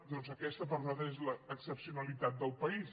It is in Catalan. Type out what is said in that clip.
doncs aquesta és per nosaltres l’excepcio nalitat del país